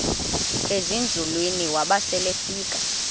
ezinzulwini waba selefika